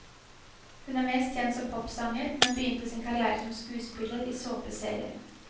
Hun er mest kjent som popsanger, men begynte sin karrière som skuespiller i såpeserier.